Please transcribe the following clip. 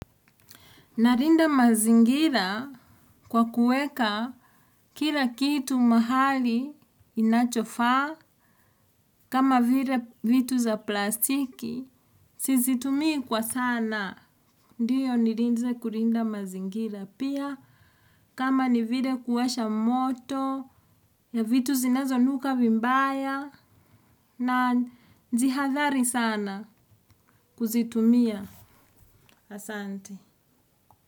Nalinda mazingira kwa kuweka kila kitu mahali inachofa kama vile vitu za plastiki sizitumii kwa sana. Ndiyo nilianza kulinda mazingira pia kama ni vile kuwasha moto ya vitu zinazonuka vibaya na najihadhari sana kuzitumia asante.